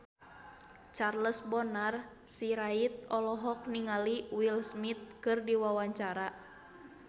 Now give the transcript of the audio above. Charles Bonar Sirait olohok ningali Will Smith keur diwawancara